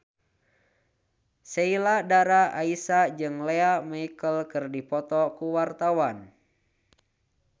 Sheila Dara Aisha jeung Lea Michele keur dipoto ku wartawan